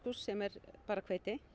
sem er bara hveiti